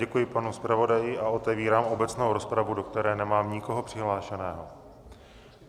Děkuji panu zpravodaji a otevírám obecnou rozpravu, do které nemám nikoho přihlášeného.